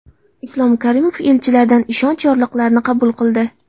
Islom Karimov elchilardan ishonch yorliqlarini qabul qildi.